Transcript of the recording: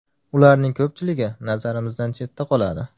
Ularning ko‘pchiligi nazarimizdan chetda qoladi.